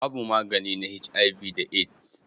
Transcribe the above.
Babu magani na HIV da AIDS.